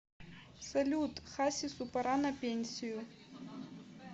салют хасису пора на пенсию